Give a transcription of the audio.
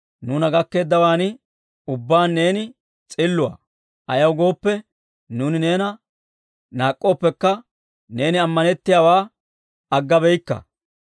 Nuuna gakkeeddawaan ubbaan neeni s'illuwaa. Ayaw gooppe, nuuni neena naak'k'ooppekka neeni ammanettiyaawaa aggabeyikka.